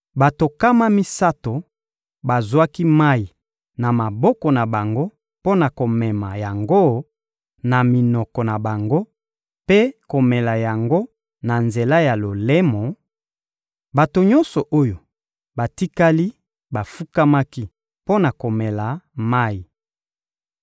Bato nkama misato bazwaki mayi na maboko na bango mpo na komema yango na minoko na bango mpe komela yango na nzela ya lolemo; bato nyonso oyo batikali bafukamaki mpo na komela mayi.